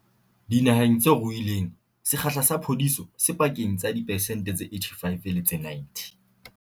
Dinaheng tse ruileng, sekgahla sa phodiso se pakeng tsa diphesente tse 85 le tse 90.